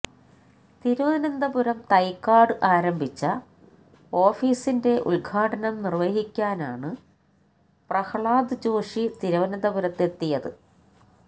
തിരുവനന്തപുരം തൈക്കാട് ആരംഭിച്ച ഓഫീസിന്റെ ഉദ്ഘാടനം നിർവ്വഹിക്കാനാണ് പ്രഹ്ലാദ് ജോഷി തിരുവനന്തപുരത്തെത്തിയത്